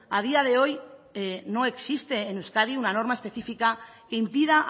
a día de hoy no existe en euskadi una norma específica que impida